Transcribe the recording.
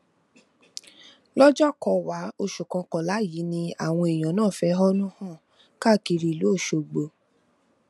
lọjọkọwàá oṣù kọkànlá yìí ni àwọn èèyàn náà fẹhónú hàn káàkiri ìlú ọṣọgbó